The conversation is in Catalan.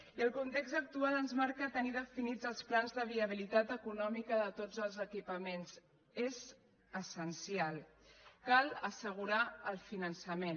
i el context actual ens marca tenir definits els plans de viabilitat econòmica de tots els equipaments és essencial cal assegurar el finançament